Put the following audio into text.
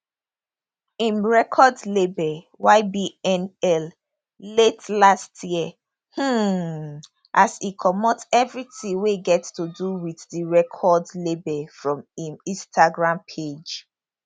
im record label ybnl late last year um as e comot evritin wey get to do wit di record label from im instagram page